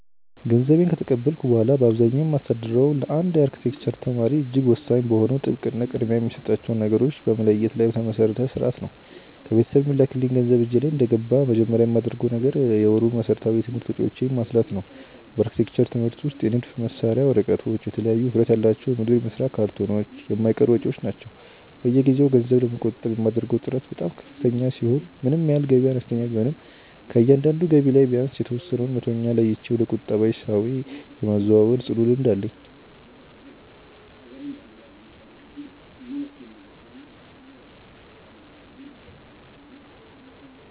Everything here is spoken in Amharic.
ገንዘቤን ከተቀበልኩ በኋላ በአብዛኛው የማስተዳድረው ለአንድ የአርክቴክቸር ተማሪ እጅግ ወሳኝ በሆነው ጥብቅ እና ቅድሚያ የሚሰጣቸውን ነገሮች በመለየት ላይ በተመሰረተ ሥርዓት ነው። ከቤተሰብ የሚላክልኝ ገንዘብ እጄ ላይ እንደገባ መጀመሪያ የማደርገው ነገር የወሩን መሠረታዊ የትምህርት ወጪዎቼን ማስላት ነው። በአርክቴክቸር ትምህርት ውስጥ የንድፍ መሳያ ወረቀቶች፣ የተለያዩ ውፍረት ያላቸው የሞዴል መስሪያ ካርቶኖች የማይቀሩ ወጪዎች ናቸው። በየጊዜው ገንዘብ ለመቆጠብ የማደርገው ጥረት በጣም ከፍተኛ ሲሆን ምንም ያህል ገቢዬ አነስተኛ ቢሆንም ከእያንዳንዱ ገቢ ላይ ቢያንስ የተወሰነውን መቶኛ ለይቼ ወደ ቁጠባ ሂሳቤ የማዛወር ጽኑ ልምድ አለኝ።